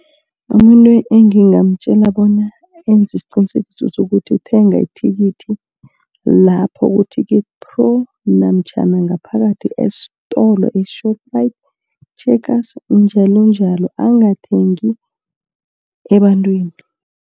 Umuntu engingamtjela bona enze isiqinisekiso sokuthi uthenga ithikithi lapho ku-ticket pro namtjhana ngaphakathi estolo e-Shoprite, Checkers njalonjalo angathengi ebantwini.